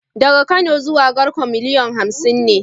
Daga Kano zuwa Garko mil hamsin ne.